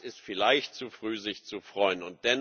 Es ist vielleicht zu früh, sich zu freuen.